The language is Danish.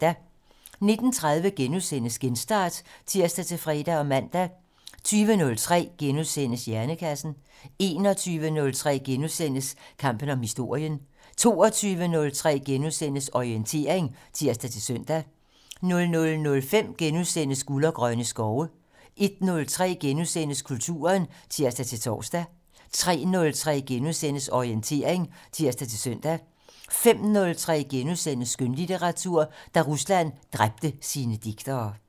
19:30: Genstart *(tir-fre og man) 20:03: Hjernekassen * 21:03: Kampen om historien * 22:03: Orientering *(tir-søn) 00:05: Guld og grønne skove * 01:03: Kulturen *(tir-tor) 03:03: Orientering *(tir-søn) 05:03: Skønlitteratur: Da Rusland dræbte sine digtere *